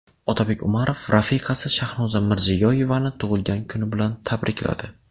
Otabek Umarov rafiqasi Shahnoza Mirziyoyevani tug‘ilgan kuni bilan tabrikladi.